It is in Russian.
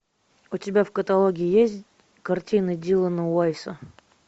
у тебя в каталоге есть картины дилана уайса